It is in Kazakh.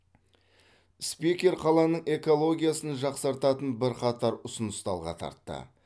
спикер қаланың экологиясын жақсартатын бірқатар ұсынысты алға тартты